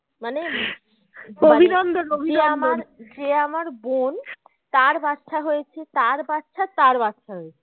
মানে যে আমার বোন তার বাচ্ছা হয়েছে তার বাচ্ছা তার বাচ্ছা হয়েছে